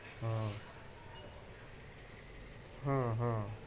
হম